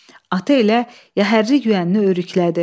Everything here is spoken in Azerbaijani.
Atı elə yəhərli yüyənini örüklədi.